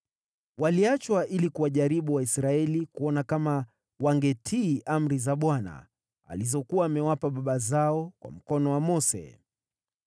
Waliachwa ili kuwajaribu Waisraeli kuona kama wangetii amri za Bwana , alizokuwa amewapa baba zao kwa mkono wa Mose.